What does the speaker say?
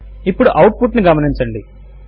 ఇప్పుడు output ను గమనించండి